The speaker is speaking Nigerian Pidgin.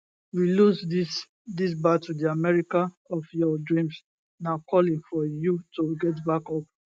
we lose dis dis battle di america of your dreams na calling for you to get back up